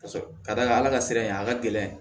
Ka d'a kan ala ka sira in a ka gɛlɛn